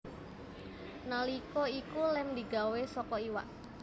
Nalika iku lem digawé saka iwak